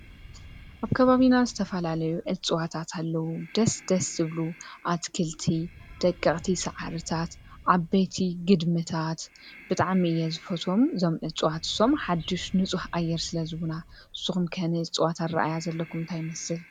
ኣብ ካባቢና ዝተፋላለዩ እፅዋታት ኣለዉ፡፡ ደስ ደስ ዝብሉ ኣትክልቲ፣ ደቅቕቲ ሳዕርታት ፣ዓበየቲ ግድምታት ብጣዕሚ እየ ዝፎቶዎም እዞም እዕጽዋት እሶም፡፡ ሓድሽ ንጹሕ ኣየር ስለ ዝህቡና ንስኹም ከ ንእፅዋት ዘለኩም ኣረአአያ ዘለኩም አንታየ ይመስል?